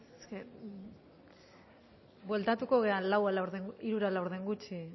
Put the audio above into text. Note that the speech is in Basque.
bai bueltatuko gera hamalau berrogeita